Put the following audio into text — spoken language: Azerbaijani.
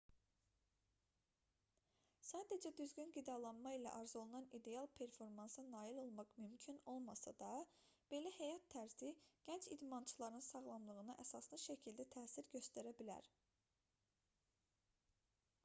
sadəcə düzgün qidalanma ilə arzuolunan ideal performansa nail olmaq mümkün olmasa da belə həyat tərzi gənc idmançıların sağlamlığına əsaslı şəkildə təsir göstərə bilər